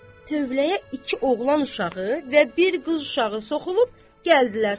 tövləyə iki oğlan uşağı və bir qız uşağı soxulub gəldilər.